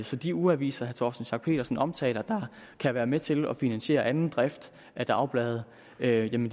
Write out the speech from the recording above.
så de ugeaviser herre torsten schack pedersen omtaler der kan være med til at finansiere anden drift af dagblade vil jo